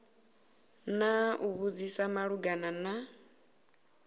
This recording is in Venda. na u vhudzisa malugana na